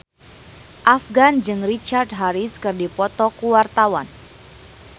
Afgan jeung Richard Harris keur dipoto ku wartawan